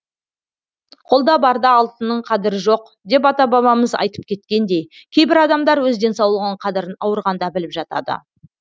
қолда барда алтынның қадірі жоқ деп ата бабамыз айтып кеткендей кейбір адамдар өз денсаулығының қадірін ауырғанда біліп жатады